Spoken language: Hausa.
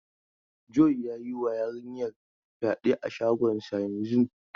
John ya yi wa yarinyar fyade a shagonsa yanzun.